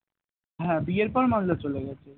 হ্যাঁ বিয়ের পর মালদা চলে গেছে